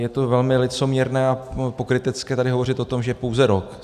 Je to velmi licoměrné a pokrytecké tady hovořit o tom, že pouze rok.